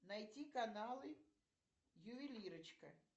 найти каналы ювелирочка